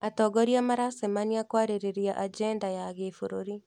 Atongoria maracemania kwarĩrĩria ajenda ya gĩbũrũri